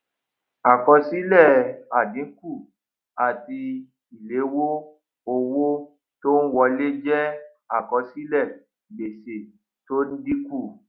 àkọsílè àdínkù àti ìléwó owó tó n wọlé jé àkọsílè gbèsè tó n dínkù